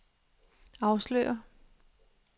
afslører